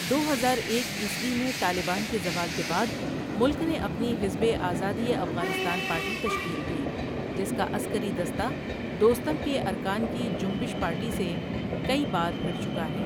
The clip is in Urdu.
دو ہزار ایک عیسوی میں طالبان کے زوال کے بعد ملک نے اپنی حزب آزادیٔ افغانستان پارٹی تشکیل دی، جس کا عسکری دستہ دوستم کے ارکان کی جنبش پارٹی سے کئی بار بھڑ چکا ہے.